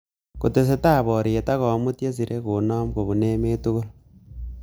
Kotestai boriet ak komut chesirei konom kopun emet tugul